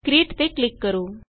create ਤੇ click ਕਰੋ